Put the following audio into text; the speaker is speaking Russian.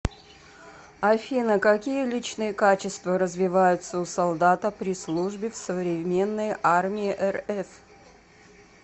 афина какие личные качества развиваются у солдата при службе в современной армии рф